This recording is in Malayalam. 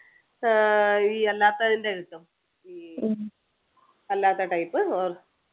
ആഹ് ഈ അല്ലാത്തതിൻ്റെ കിട്ടും ഈ അല്ലാത്ത type